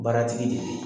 Baara tigi de ye